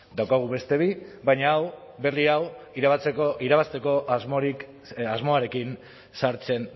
dauzkagu beste bi baina hau berri hau irabazteko asmoarekin sartzen